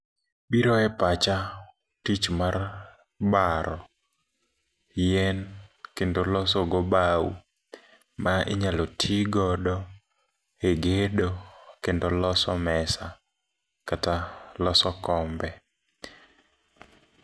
Biro e pacha tich mar baro yien kendo losogo bau, ma inyalo ti godo e gedo kendo loso mesa kata loso kombe.